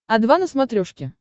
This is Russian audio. о два на смотрешке